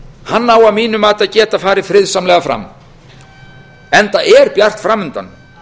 hann á að mínu mati að geta farið friðsamlega fram enda er bjart fram undan